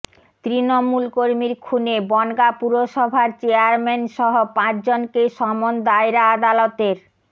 তৃণমূল কর্মীর খুনে বনগাঁ পুরসভার চেয়ারম্যান সহ পাঁচজনকে সমন দায়রা আদালতের